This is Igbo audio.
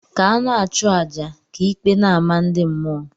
ka ana achu aja, ka ikpe n' amah ndi mmuọ.